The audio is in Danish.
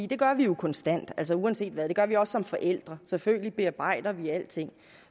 det gør vi jo konstant altså uanset hvad det gør vi også som forældre selvfølgelig bearbejder vi alting